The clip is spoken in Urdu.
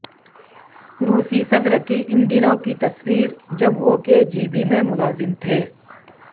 روسی صدر کی ان دنوں کی تصویر جب وہ کے جی بی میں ملازم تھے